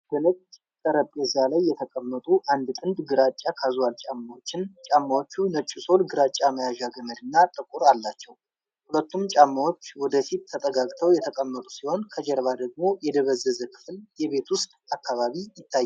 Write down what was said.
በነጭ ጠረጴዛ ላይ የተቀመጡ አንድ ጥንድ ግራጫ ካዝዋል ጫማዎችን ። ጫማዎቹ ነጭ ሶል፣ ግራጫ መያዣ ገመድ እና ጥቁር አላቸው። ሁለቱም ጫማዎች ወደ ፊት ተጠጋግተው የተቀመጡ ሲሆን፣ ከጀርባ ደግሞ የደበዘዘ ክፍል የቤት ውስጥ አካባቢ ይታያል።